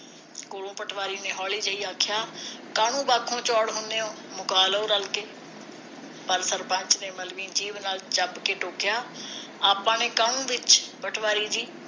ਕੋਲੋ ਪਟਵਾਰੀ ਨੇ ਹੋਲੀ ਜਿਹੀ ਆਖਿਆ ਕਾਹਨੂੰ ਬਾਪੂ ਚੌੜ ਹੁੰਦੇ ਓ ਮੁਕਾ ਰੋ ਰਲ ਕੇ ਪਰ ਸਰਪੰਚ ਨੇ ਮਲਵੀ ਜੀਭ ਨਾਲ ਕੇ ਟੋਕਿਆ ਆਪਾ ਨੇ ਕਾਹਨੂੰ ਵਿਚ ਪਟਵਾਰੀ ਜੀ